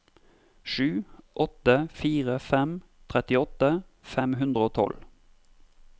sju åtte fire fem trettiåtte fem hundre og tolv